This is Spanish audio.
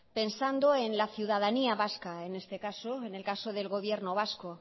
pensando en la ciudadanía vasca en este caso en el caso del gobierno vasco